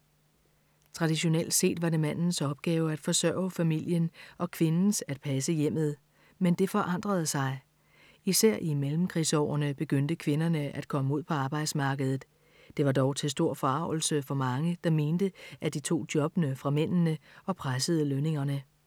Traditionelt set var det mandens opgave at forsørge familien og kvindens at passe hjemmet. Men det forandrede sig. Især i mellemkrigsårene begyndte kvinderne at komme ud på arbejdsmarkedet. Det var dog til stor forargelse for mange, der mente, at de tog jobbene fra mændene og pressede lønningerne.